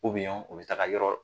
u bɛ taga ka yɔrɔ la